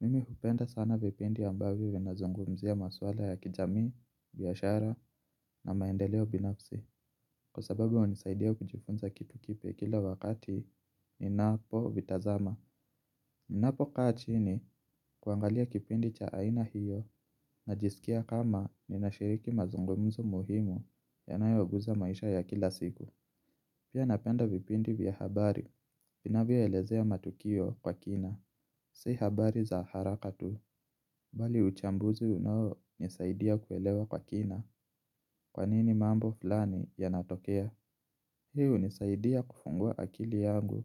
Mimi hupenda sana vipindi ambavyo vinazungumzia maswala ya kijamii, biashara na maendeleo binafsi. Kwa sababu inisaidia kujifunza kitu kipya kila wakati ni napo vitazama. Ni napo kaa chini kuangalia kipindi cha aina hiyo, na jisikia kama ninashiriki mazungumzo muhimu yanayoguza maisha ya kila siku. Pia napenda vipindi vya habari, vinavyo elezea matukio kwa kina, si habari za haraka tu, bali uchambuzi unaonisaidia kuelewa kwa kina, kwanini mambo fulani ya natokea. Hii hunisaidia kufungua akili yangu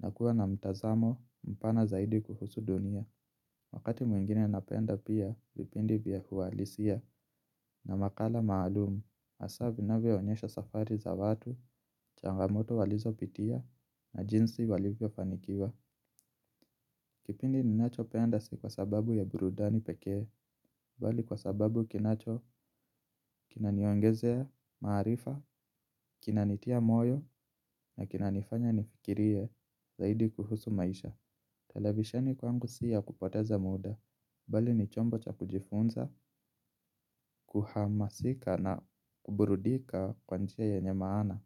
na kuwa na mtazamo mpana zaidi kuhusu dunia. Wakati mwingine napenda pia vipindi vya uhalisia na makala maalumu, haswa vinavyo onyesha safari za watu, changamoto walizopitia na jinsi walivyofanikiwa. Kipindi ninachopenda si kwa sababu ya birudani pekee. Bali kwa sababu kinacho, kinaniongezea, maarifa, kinanitia moyo na kinanifanya nifikirie zaidi kuhusu maisha. Televisheni kwangu si ya kupoteza muda, bali ni chombo cha kujifunza, kuhamasika na kuburudika kwa njia yenye maana.